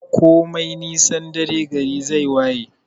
Komai nisan dare gari zai waye.